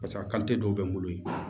Paseke a dɔw bɛ n bolo yen